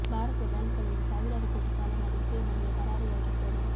ಭಾರತದ ಬ್ಯಾಂಕುಗಳಲ್ಲಿ ಸಾವಿರಾರು ಕೋಟಿ ಸಾಲ ಮಾಡಿ ವಿಜಯ ಮಲ್ಯ ಪರಾಗಿಯಾಗಿದ್ದರು